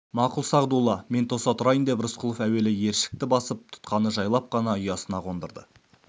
мақұл сағдулла мен тоса тұрайын деп рысқұлов әуелі ершікті басып тұтқаны жайлап қана ұясына қондырды